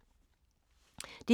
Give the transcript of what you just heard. DR1